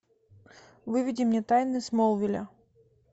выведи мне тайны смолвиля